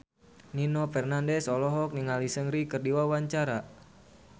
Nino Fernandez olohok ningali Seungri keur diwawancara